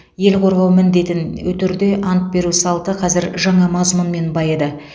ел қорғау міндетін өтерде ант беру салты қазір жаңа мазмұнмен байыды